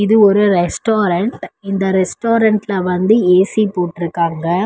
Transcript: இது ஒரு ரெஸ்டாரன்ட் இந்த ரெஸ்டாரன்ட்ல வந்து ஏ_சி போட்ருக்காங்க.